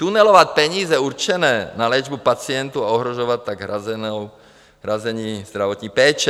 Tunelovat peníze určené na léčbu pacientů, a ohrožovat tak hrazení zdravotní péče.